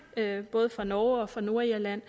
her både fra norge og fra nordirland